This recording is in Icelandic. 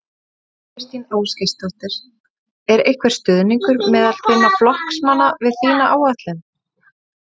Þóra Kristín Ásgeirsdóttir: Er einhver stuðningur meðal þinna flokksmanna við þína áætlun?